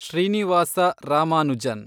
Srinivasa Ramanujan